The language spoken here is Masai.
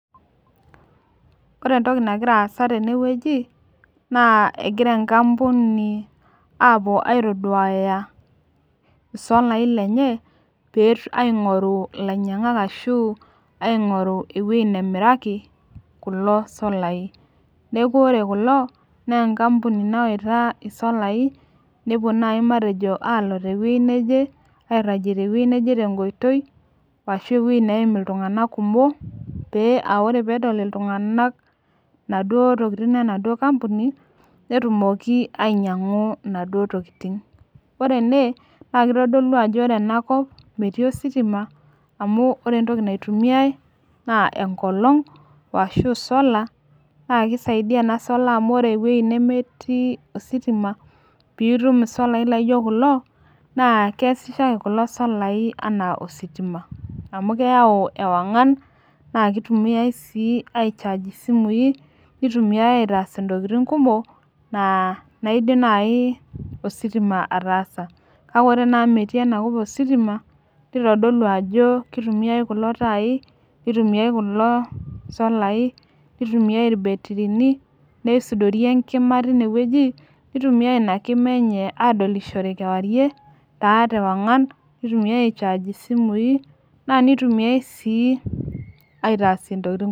Ore entoki nagira aasa tenewueji, naa egira enkampuni apuo aitoduaya isolai lenye, aing'oru ilainyang'ak ashu aing'oru ewoi nemiraki, kulo solai. Neeku ore kulo, nenkampuni nawaita isolai, nepuo nai matejo alo tewei neje, airragie tewei neje tenkoitoi, ashu ewoi neim iltung'anak kumok, pee ah ore pedol iltung'anak naduo tokiting enaduo kampuni, netumoki ainyang'u inaduo tokiting. Ore ene, na kitodolu ajo ore enakop, metii ositima, amu ore entoki naitumiai, naa enkolong',washu sola, na kisaidia ena sola amu ore ewoi nemetii ositima, pitum isolai laijo kulo, naa keesisho ake kulo solai enaa ositima. Amu keyau ewang'an, na kitumiai si ai charge isimui, nitumiai aitaas intokiting kumok, naa naidim nai ositima ataasa. Kake ore naa amu metii enakop ositima, nitodolu ajo kitumiai kulo tai, nitumiai kulo solai, nitumiai irbetirini, neisudori enkima tinewueji, nitumiai ina kima enye adolishore kewarie, taa tewang'an, nitumiai ai charge isimui, na nitumiai si aitaasie ntokiting.